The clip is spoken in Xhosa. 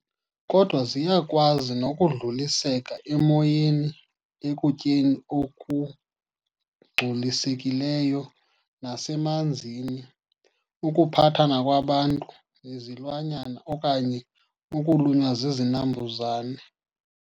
Kodwa, ziyakwazi nokudluliseka emoyeni, ekutyeni okungculisekileyo nasemanzini, ukuphathana kwabantu nezilwanyana okanye ukulunywa zizinambuzane.